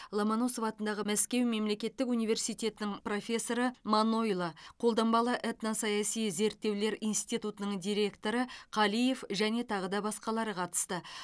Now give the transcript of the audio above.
ломоносов атындағы мәскеу мемлекеттік университетінің профессоры манойло қолданбалы этносаяси зерттеулер институтының директоры қалиев және тағы да басқалары қатысты